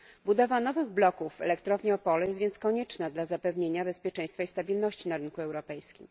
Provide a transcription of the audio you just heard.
Budowa nowych bloków Elektrowni Opole jest więc konieczna dla zapewnienia bezpieczeństwa i stabilności na rynku europejskim.